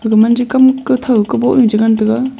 aga man chikam kathau kaboh jaw chengan taiga.